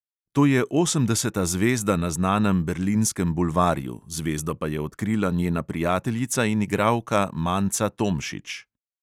To je osemdeseta zvezda na znanem berlinskem bulvarju, zvezdo pa je odkrila njena prijateljica in igralka manca tomšič.